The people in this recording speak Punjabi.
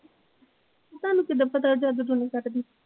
ਤੁਹਾਨੂੰ ਕਿੱਦਾ ਪਤਾ ਉਹ ਜਾਦੂ ਟੂਣੇ ਕੱਟਦੀ।